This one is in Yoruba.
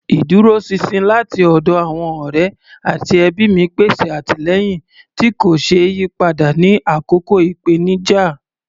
Ìdúróṣinṣin láti ọ̀dọ̀ àwọn ọ̀rẹ́ àti ẹbí mi pèsè àtìlẹ́yìn tí kò ṣeé yí padà ní àkókò ìpèníjà.